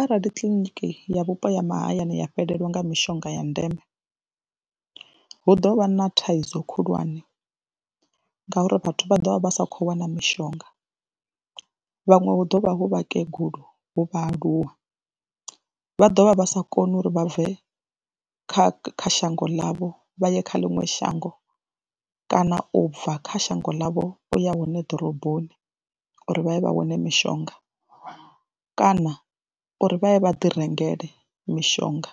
Arali kiḽiniki ya vhupo ha mahayani ya fhelelwa nga mishonga ya ndeme hu ḓo vha na thaidzo khulwane ngauri vhathu vha ḓo vha vha sa khou wana mishonga, vhaṅwe hu ḓo vha hu vhakegulu, hu vhaaluwa, vha ḓo vha vha sa koni uri vha bve kha kha shango ḽavho vha ye kha ḽiṅwe shango kana u bva kha shango ḽavho u ya hone ḓoroboni, uri vha ye vha wane mishonga kana uri vha ye vha ḓi rengele mishonga